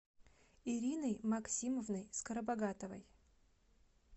ириной максимовной скоробогатовой